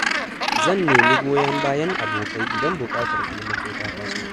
Zan nemi goyon bayan abokai idan buƙatar taimako ta taso.